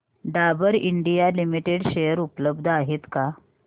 Dabur India limited share उपलब्ध आहेत का